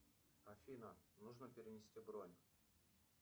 афина нужно перенести бронь